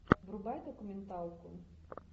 врубай документалку